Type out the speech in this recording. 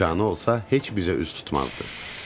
İmkanı olsa heç bizə üz tutmazdı.